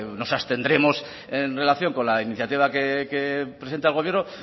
nos abstendremos en relación con la iniciativa que presente el gobierno